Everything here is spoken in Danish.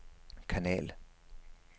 kanal